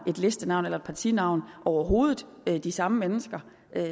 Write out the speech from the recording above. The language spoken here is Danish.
listenavn eller et partinavn overhovedet har de samme mennesker